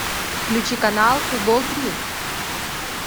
включи канал футбол три